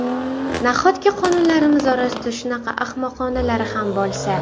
Nahotki qonunlarimiz orasida shunaqa ahmoqonalari ham bo‘lsa?